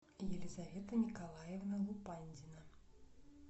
елизавета николаевна лупандина